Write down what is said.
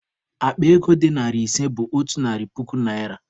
Akpa ego dị narị ise bụ otu narị puku naịra.